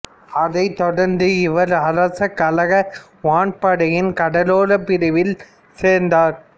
அதைத் தொடர்ந்து இவர் அரச கழக வான்படையின் கடலோரப் பிரிவில் சேர்ந்தார்